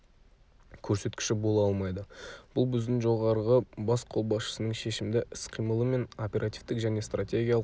көрсеткіші бола алмайды бүл біздің жоғарғы бас қолбасшының шешімді іс-қимылы мен оперативтік және стратегиялық